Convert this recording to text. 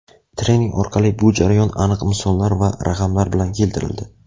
Trening orqali bu jarayon aniq misollar va raqamlar bilan keltirildi.